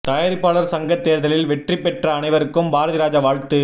தயாரிப்பாளர் சங்க தேர்தலில் வெற்றிப்பெற்ற அனைவருக்கும் பாரதிராஜா வாழ்த்து